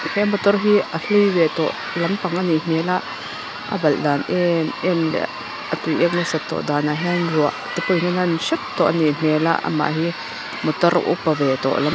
he motor hi a hlui ve tawh lampang anih hmel a a balh dan emem leh a tuiek nasat tawh danah hian ruah te pawhin a nan hrep tawh anih hmel a amah hi motor upa ve tawh--